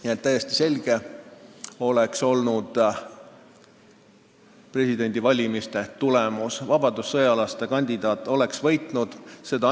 Nii et presidendivalimiste tulemus oleks täiesti selge olnud: vabadussõjalaste kandidaat oleks võitnud.